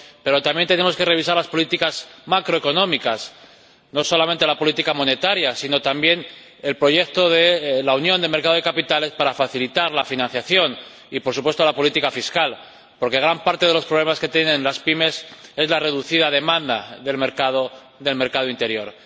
Pero también tenemos que revisar las políticas macroeconómicas, no solamente la política monetaria, sino también el proyecto de la Unión de Mercados de Capitales, para facilitar la financiación y, por supuesto, la política fiscal, porque gran parte de los problemas que tienen las pymes es la reducida demanda del mercado interior.